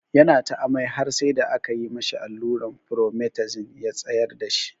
Ya na ta amai har sai da aka yi ma shi alluran Promethazine ya tsayar da shi.